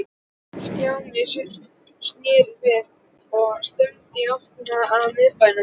Stjáni snarsneri við og stefndi í áttina að miðbænum.